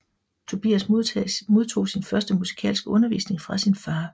Tobias modtog sin første musikalske undervisning fra sin fader